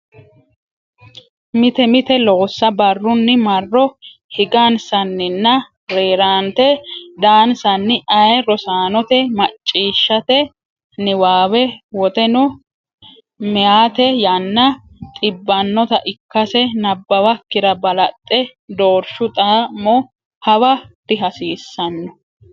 Mite mite loossa barrunni marro higansanninna rerante daansanni aye Rosaanote macciishshate niwaawe woteno meyate yanna xiibbanota ikkase nabbawakkira balaxxe doorshu xa mo hawa dihasiissaanno.